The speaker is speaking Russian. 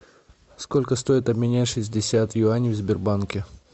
сколько стоит обменять шестьдесят юаней в сбербанке